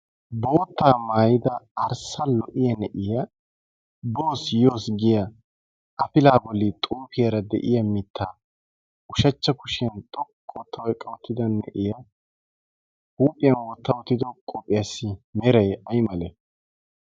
boottaa maayida arssa lo"iya na'iya boos yoos giya afila bolli xuufiyaara de'iya mitta ushachcha kushiyan xoqqu ootta eqqa ottida na'iya huuphiyan wotta oottido qopphiyaassi meray ay male